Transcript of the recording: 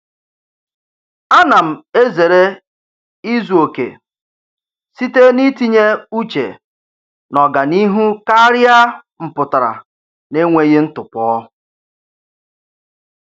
A na m ezere izuokè site n'itinye uche n'ọganihu karịa mpụtara n'enweghị ntụpọ.